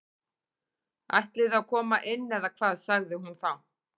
Ætliði að koma inn eða hvað sagði hún þá.